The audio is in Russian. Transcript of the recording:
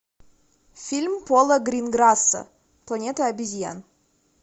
фильм пола гринграсса планета обезьян